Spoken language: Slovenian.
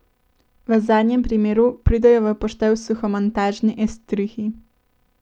V zadnjem primeru pridejo v poštev suhomontažni estrihi.